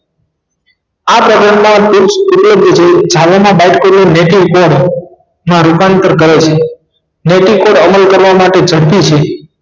આ program બાદ ઉપયોગી જેવું માં રૂપાંતર કરે છે મેથી કોણ અમલ કરવા માટે